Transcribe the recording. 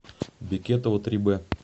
бекетова три б